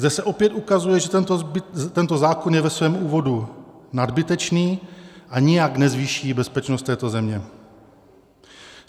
Zde se opět ukazuje, že tento zákon je ve svém úvodu nadbytečný a nijak nezvýší bezpečnost této země.